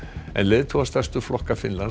en leiðtogar stærstu flokka